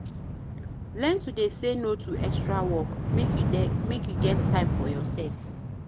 Learn to dey say no to extra work, make you get time for yoursef.